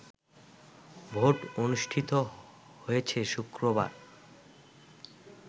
vote অনুষ্ঠিত হয়েছে শুক্রবার